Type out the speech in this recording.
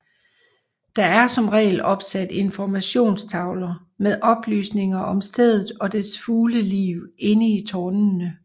Der er som regel opsat informationstavler med oplysninger om stedet og dets fugleliv inde i tårnene